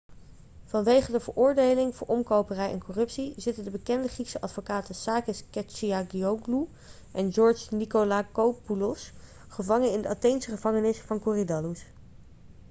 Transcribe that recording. vanwege de veroordeling voor omkoperij en corruptie zitten de bekende griekse advocaten sakis kechagioglou en george nikolakopoulos gevangen in de atheense gevangenis van korydallus